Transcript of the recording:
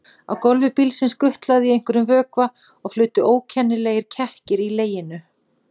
Á gólfi bílsins gutlaði í einhverjum vökva og flutu ókennilegir kekkir í leginum.